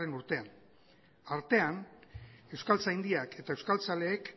urtean artean euskaltzaindiak eta euskaltzaleek